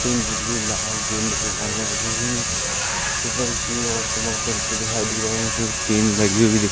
ऊपर लोग चलते हुए दिखाई दे रहे हैं फिर टिन लगी हुई दी--